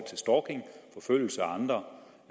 andre